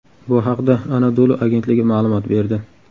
Bu haqda Anadolu agentligi ma’lumot berdi .